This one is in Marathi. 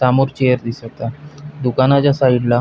समोर चेअर दिसत आहे दुकानाच्या साइडला --